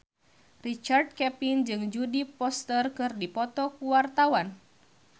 Richard Kevin jeung Jodie Foster keur dipoto ku wartawan